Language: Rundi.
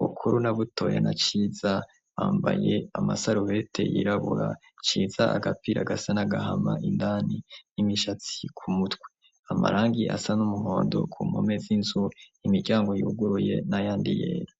bukuru na butoye na ciza bambaye amasaruwete yirabura ciza agapira gasa n'agahama indani n'imishatsi ku mutwe amarangi asa n'umuhondo ku nkome z'inzu imiryango yuguruye n'ayandi yera.